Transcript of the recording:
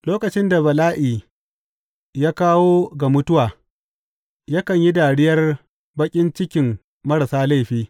Lokacin da bala’i ya kawo ga mutuwa, yakan yi dariyar baƙin cikin marasa laifi.